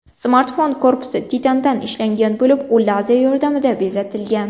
Smartfon korpusi titandan ishlangan bo‘lib, u lazer yordamida bezatilgan.